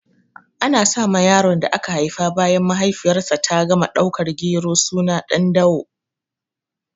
Ana sa ma yaron da aka haifa bayan mahaifiyar sa ta gama dakan gero suna Ɗandawo